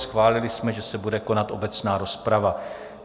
Schválili jsme, že se bude konat obecná rozprava.